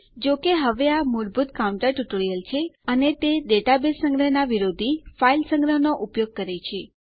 જોકે હવે આ મૂળભૂત કાઉન્ટર ટ્યુટોરીયલ છે અને તે ડેટાબેઝ સંગ્રહના વિરોધી ફાઇલ સંગ્રહનો ઉપયોગ કરે છે